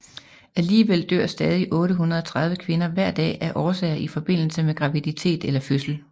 Alligevel dør stadig 830 kvinder hver dag af årsager i forbindelse med graviditet eller fødsel